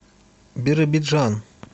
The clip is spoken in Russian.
биробиджан